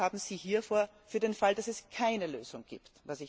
Was haben Sie hier vor für den Fall, dass es keine Lösung gibt?